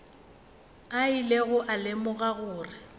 a ilego a lemoga gore